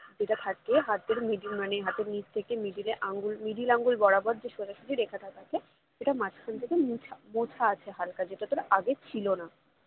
যেটা থাকে হাতের middle মানে হাতের নিচ থেকে middle এ মানে middle আঙ্গুল বরাবর যে সোজাসুজি রেখাটা থাকে সেটা মাঝখান থেকে মুছা মোছা আছে হালকা যেটা তোর আগে ছিল না